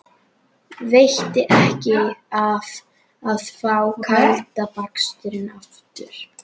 Í frosnum grassverðinum liggur stirður, nábleikur músarungi.